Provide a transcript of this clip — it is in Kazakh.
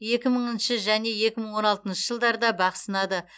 екі мыңыншы және екі мың он алтыншы жылдарда бақ сынады